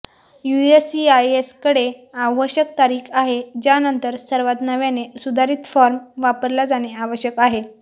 यूएससीआयएसकडे आवश्यक तारीख आहे ज्यानंतर सर्वात नव्याने सुधारित फॉर्म वापरला जाणे आवश्यक आहे